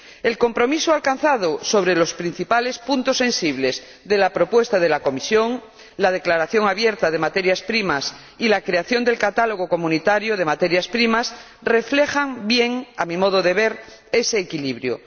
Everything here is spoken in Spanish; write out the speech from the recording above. El compromiso alcanzado sobre los principales puntos sensibles de la propuesta de la Comisión, la declaración abierta de materias primas y la creación del catálogo comunitario de materias primas reflejan bien, a mi modo de ver, ese equilibrio.